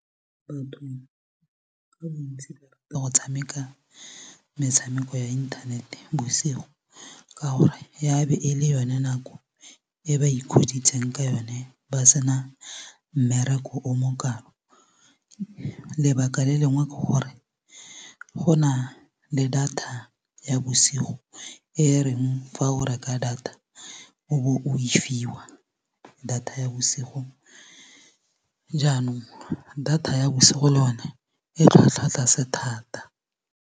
Batho ka bontsi ba rata go tshameka metshameko ya inthanete bosigo ka gore ya be e le yone nako e ba ikgoditseng ka yone ba sena mmereko o mo kalo lebaka le lengwe ke gore ke go na le data ya bosigo e reng fa o reka data o bo o e fiwa data ya bosigo jaanong data ya bosigo le yone e tlhwatlhwa tlase thata.